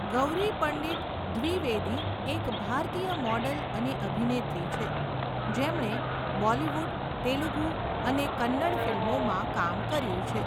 ગૌરી પંડિત દ્વિવેદી એક ભારતીય મોડલ અને અભિનેત્રી છે, જેમણે બોલિવૂડ, તેલુગુ અને કન્નડ ફિલ્મોમાં કામ કર્યું છે.